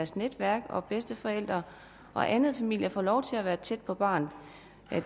sit netværk og bedsteforældre og anden familie få lov til at være tæt på barnet